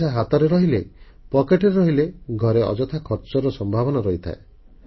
ପଇସା ହାତରୁ ରହିଲେ ପକେଟରେ ରହିଲେ ଘରେ ଅଯଥା ଖର୍ଚ୍ଚର ସମ୍ଭାବନା ଥାଏ